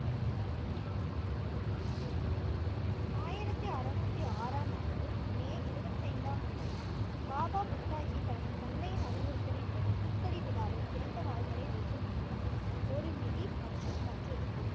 ஆயிரத்தி அறுநூத்தி ஆறாம் ஆண்டு மே இருபத்தி ஐந்தாம் தேதி பாபா புத்தாஜி தனது தந்தையின் அறிவுறுத்தலின்படி குர்க்கடி விழாவை இரண்டு வாள்களை வைத்து முடித்தார். ஒரு மிரி மற்றும் மற்றொரு பிரி